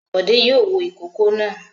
Bọ̀dé yóò wo ìkókó náà.